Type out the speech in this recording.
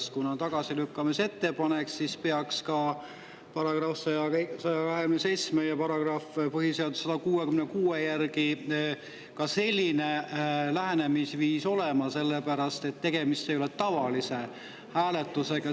Kuna tagasilükkamise ettepanekuga, siis peaks § 127 ja põhiseaduse § 166 järgi ka selline lähenemisviis olema, sellepärast et tegemist ei ole tavalise hääletusega.